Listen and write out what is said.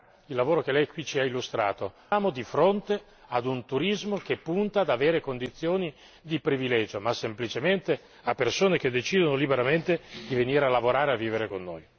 Questo è anche affermato nel lavoro che Lei ci ha illustrato non siamo di fronte a un turismo che punta ad avere condizioni di privilegio, ma semplicemente a persone che decidono liberamente di venire a lavorare e a vivere con noi.